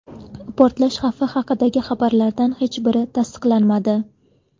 Portlash xavfi haqidagi xabarlardan hech biri tasdiqlanmadi.